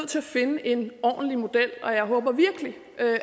til at finde en ordentlig model og jeg håber virkelig